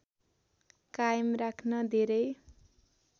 कायम राख्न धेरै